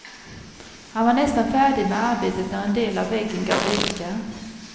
Han var nästan färdig med arbetet när en del av väggen gav vika.